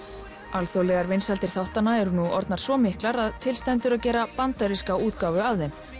alþjóðlegar vinsældir þáttanna eru nú orðnar svo miklar að til stendur að gera bandaríska útgáfu af þeim